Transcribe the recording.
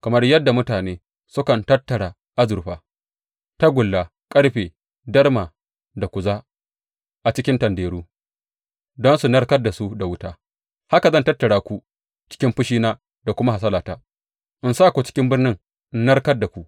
Kamar yadda mutane sukan tattara azurfa, tagulla, ƙarfe, darma da kuza a cikin tanderu don su narkar da su da wuta, haka zan tattara ku cikin fushina da kuma hasalata in sa ku cikin birnin in narkar da ku.